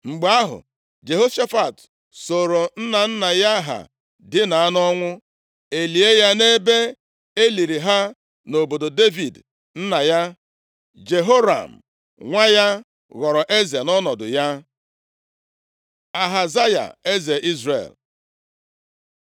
Mgbe ahụ, Jehoshafat sooro nna nna ya ha dina nʼọnwụ, e lie ya nʼebe e liri ha nʼobodo Devid, nna ya. Jehoram nwa ya ghọrọ eze nʼọnọdụ ya. Ahazaya, eze Izrel